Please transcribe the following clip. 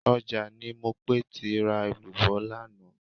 Ọjà ni Mopé ti ra èlùbọ́ lánàá